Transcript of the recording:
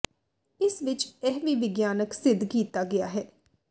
ਇਸ ਵਿਚ ਇਹ ਵੀ ਵਿਗਿਆਨਕ ਸਿੱਧ ਕੀਤਾ ਗਿਆ ਹੈ